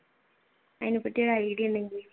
അതിനെപ്പറ്റി ഒരു idea